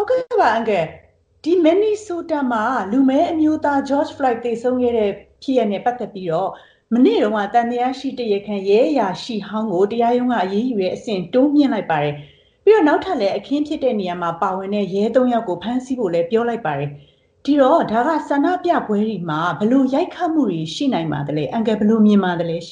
ုတ်ကဲ့ပါ အန်ကယ်။ ဒီမင်နီဆိုတာမှာ လူမည်းအမျိုးသား George Floyd သေဆုံးခဲ့တဲ့ ဖြစ်ရပ်နဲ့ ပတ်သက်ပြီးတော့ မနေ့က သံသယရှိတရားခံ ရဲအရာရှိဟောင်းကို တရားရုံးက အရေးယူတဲ့ အဆင့် တိုးမြှင့်လိုက်ပြီးတော့ နောက်ထပ် အခင်းဖြစ်တဲ့နေရာမှာ ပါဝင်တဲ့ ရဲ သုံး ဦးကိုလည်း ထပ်ပြီးဖမ်းလိုက်ပါတယ်။ ဒီတော့ ဒါက ဆန္ဒပြပွဲတွေမှာ ဘယ်လို ရိုက်ခတ်မှုတွေရှိနိုင်ပါသလဲ။ အန်ကယ် ဘယ်လို မြင်ပါသလဲ။